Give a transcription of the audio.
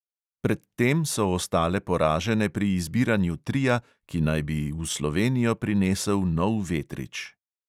Pred tem so ostale poražene pri izbiranju tria, ki naj bi v slovenijo prinesel nov vetrič.